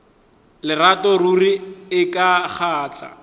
lerato ruri e ka kgahla